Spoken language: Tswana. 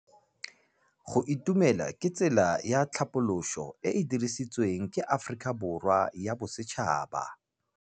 Go itumela ke tsela ya tlhapolisô e e dirisitsweng ke Aforika Borwa ya Bosetšhaba.